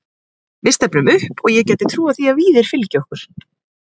Við stefnum upp og ég gæti trúað því að Víðir fylgi okkur.